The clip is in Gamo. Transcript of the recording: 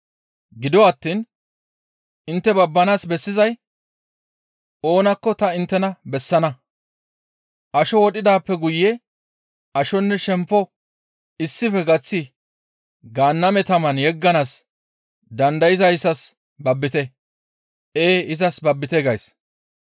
Gido attiin intte babbanaas bessizay oonakko ta inttena bessana; asho wodhidaappe guye ashonne shempo issife gaththi Gaanname taman yegganaas dandayzayssas babbite; ee izas babbite gays.